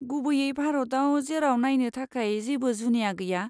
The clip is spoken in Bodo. गुबैयै भारताव जेराव नायनो थाखाय जेबो जुनिया गैया!